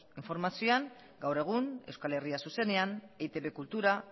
informazioan gaur egun euskal herria zuzenean eitb kultura